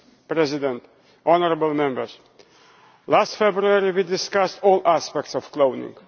Mr President, honourable Members, last February we discussed all aspects of cloning.